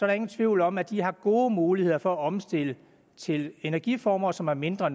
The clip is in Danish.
der ingen tvivl om at de har gode muligheder for at omstille til energiformer som er mindre